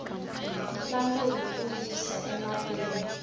ntlangu hi ku yisa emahlweni